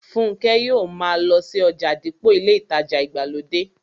Fúnkẹ́ yóò ma lọ sí ọjà dípò ilé ìtajà ìgbàlódé